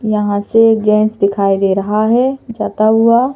यहां से गैस दिखाई दे रहा है जाता हुआ।